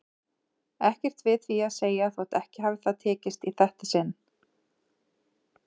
Ekkert við því að segja þótt ekki hafi það tekist í þetta sinn.